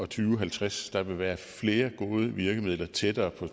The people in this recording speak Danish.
tusind og halvtreds der være flere gode virkemidler tættere på